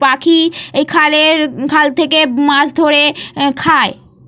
পাখি এই খালের খাল থেকে মাছ ধরে খায়।